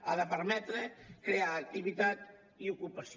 ha de permetre crear activitat i ocupació